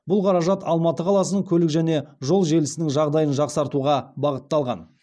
бұл қаражат алматы қаласының көлік және жол желісінің жағдайын жақсартуға бағытталған